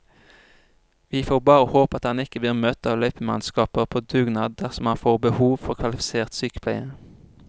Vi får bare håpe at han ikke blir møtt av løypemannskaper på dugnad dersom han får behov for kvalifisert sykepleie.